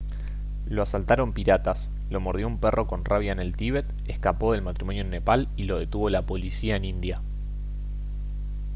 lo asaltaron piratas lo mordió un perro con rabia en el tíbet escapó del matrimonio en nepal y lo detuvo la policía en india